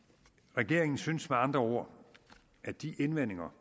regeringen synes med andre ord at de indvendinger